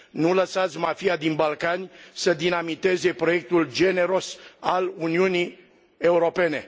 Nu lăsați mafia din Balcani să dinamiteze proiectul generos al Uniunii Europene.